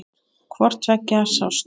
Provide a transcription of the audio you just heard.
Hvort tveggja sást.